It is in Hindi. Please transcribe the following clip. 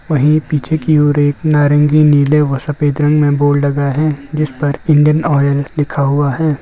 वहीं पीछे की ओर एक नारंगी नीले व सफेद रंग में बोर्ड लगा है जिस पर इण्डियन ऑइल लिखा हुआ है।